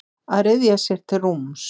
Að ryðja sér til rúms